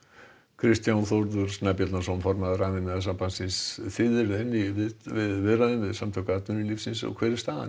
Kristján Þórður Snæbjarnarson formaður Rafiðnaðarsambandsins þið eruð enn í viðræðum við Samtök atvinnulífsins hver er staðan